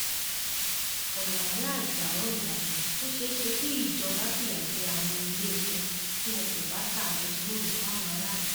ọlàwé ajáò ìbàdàn ó ṣeé ṣe kí ìjọba fìyà jẹ àwọn iléepo tí wọn kò bá ta bẹtiróòlù fáwọn aráàlú